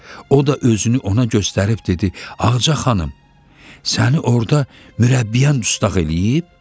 O da özünü ona göstərib dedi: "Ağca xanım, səni orda mürəbbiyən dustaq eləyib?"